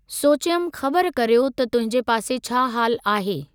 सोचयमि ख़बर करियो त तुंहिंजे पासे छा हाल आहे।